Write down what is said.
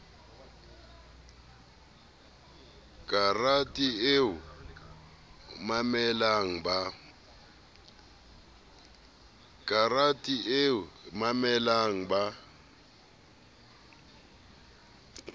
karete eo o memelang ba